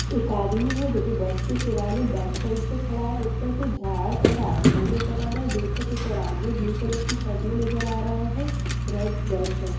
एक आदमी है जो कि बस के सिरहाने बैक साइड से खड़ा है | ऊपर से झाड़ और आसमान नजर आ रहा है | दूर तक एक आदमी ब्लू कलर की शर्ट में नजर आ रहा है | रेड बस है।